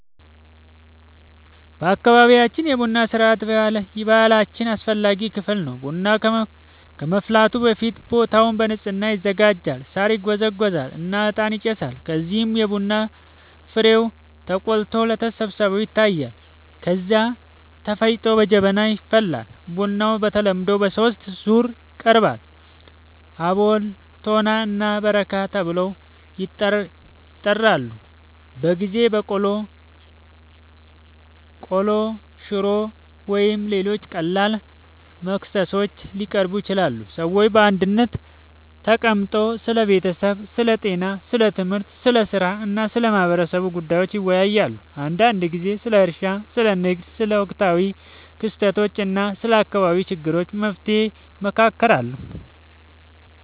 በአካባቢያችን የቡና ሥርዓት የባህላችን አስፈላጊ ክፍል ነው። ቡናው ከመፍላቱ በፊት ቦታው በንጽህና ይዘጋጃል፣ ሳር ይጎዘጎዛል እና እጣን ይጨሳል። ከዚያም የቡና ፍሬው ተቆልቶ ለተሰብሳቢዎች ይታያል፣ ከዚያ ተፈጭቶ በጀበና ይፈላል። ቡናው በተለምዶ በሦስት ዙር ይቀርባል፤ አቦል፣ ቶና እና በረካ ተብለው ይጠራሉበ ጊዜ በቆሎ፣ ቆሎ፣ ሽሮ ወይም ሌሎች ቀላል መክሰሶች ሊቀርቡ ይችላሉ። ሰዎች በአንድነት ተቀምጠው ስለ ቤተሰብ፣ ስለ ጤና፣ ስለ ትምህርት፣ ስለ ሥራ እና ስለ ማህበረሰቡ ጉዳዮች ይወያያሉ። አንዳንድ ጊዜ ስለ እርሻ፣ ስለ ንግድ፣ ስለ ወቅታዊ ክስተቶች እና ስለ አካባቢው ችግሮች መፍትሔ ይመካከራሉ